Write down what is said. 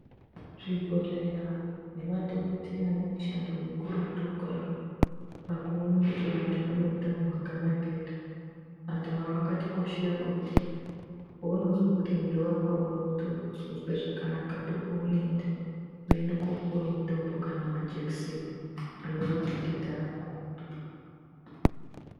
Zvibhehleya nemadhokodheya ane mushando mukurutu kwazvo pakuone kuti anhu ane utano hwakanaka ere ,anhu aya akatikoshera ngekuti paunozwe kuti mwiri wako auna kutozwe zvakanaka ndokwounoenda woende kopiwe mutombo kana majekiseni anorape denda rako.